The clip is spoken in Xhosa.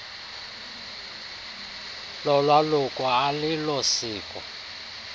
lolwaluko alilo siko